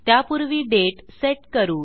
त्यापूर्वी दाते सेट करू